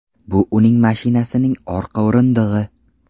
Bu uning mashinasining orqa o‘rindig‘i”.